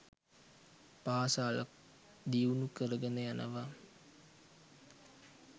පාසල් ක් දියුණු කරගෙන යනවා